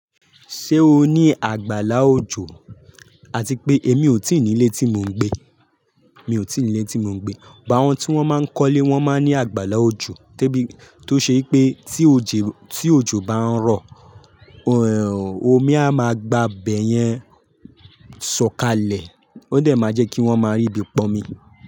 Ṣé o ní àgbàlá òjò? Àti pé èmi ò tí ì ní ilé tí mò ń gbé, mi ò tí ì ní ilé tí mò ń gbé. But àwọn tí wọ́n máa ń kọ́lé wọ́n máa ń ní àgbàlá òjò, to ṣe pé tí òjò bá ń rọ̀, omi a máa gba ibẹ̀ yẹn sọ̀kalẹ̀. Ó de máa jẹ́ kí wọ́n máa ríbi pọ́nmi.